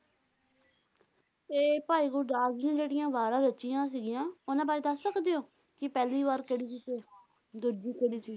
ਤੇ ਭਾਈ ਗੁਰਦਾਸ ਜੀ ਜਿਹੜੀਆਂ ਵਾਰਾਂ ਰਚੀਆਂ ਸੀਗੀਆਂ ਉਹਨਾਂ ਬਾਰੇ ਦਸ ਸਕਦੇ ਹੋ? ਕਿ ਪਹਿਲੀ ਵਾਰ ਕਿਹੜੀ ਸੀ ਤੇ ਦੂਜੀ ਕਿਹੜੀ ਸੀ?